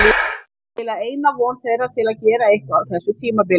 Það er eiginlega eina von þeirra til að gera eitthvað á þessu tímabili.